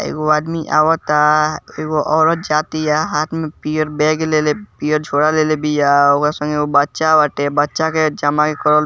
एगो आदमी अवता एगो औरत जातिया हाथ में पियर बैग लेले पियर झोरा लेले बिया ओकरा संगे बच्चा बाटे बच्चा के जमा करल --